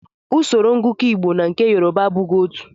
Usoro ngụkọ Igbo na nke Yoruba abụghị otú.